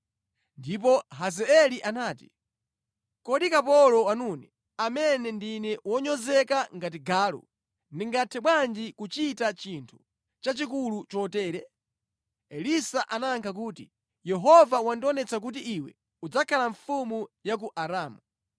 Ndipo Hazaeli anati, “Kodi kapolo wanune, amene ndine wonyozeka ngati galu, ndingathe bwanji kuchita chinthu chachikulu chotere?” Elisa anayankha kuti, “Yehova wandionetsa kuti iwe udzakhala mfumu ya ku Aramu.”